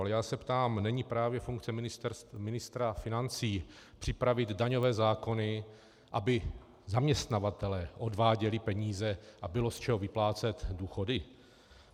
Ale já se ptám, není právě funkce ministra financí připravit daňové zákony, aby zaměstnavatelé odváděli peníze a bylo z čeho vyplácet důchody?